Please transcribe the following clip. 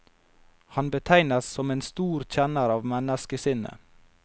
Han betegnes som en stor kjenner av menneskesinnet.